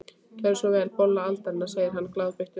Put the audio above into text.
Gerið svo vel, bolla aldarinnar, segir hann glaðbeittur.